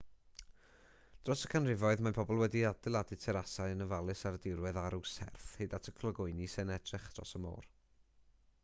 dros y canrifoedd mae pobl wedi adeiladau terasau yn ofalus ar y dirwedd arw serth hyd at y clogwyni sy'n edrych dros y môr